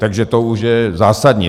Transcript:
Takže to už je zásadní.